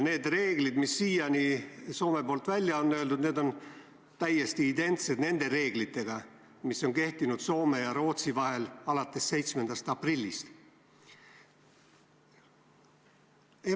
Need reeglid, mis siiani Soome on välja öeldud, on täiesti identsed nende reeglitega, mis on kehtinud Soome ja Rootsi vahel alates 7. aprillist.